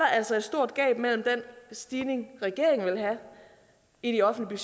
altså et stort gab mellem den stigning regeringen vil have i de offentlige